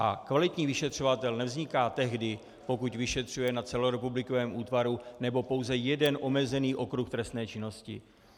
A kvalitní vyšetřovatel nevzniká tehdy, pokud vyšetřuje na celorepublikovém útvaru nebo pouze jeden omezený okruh trestné činnosti.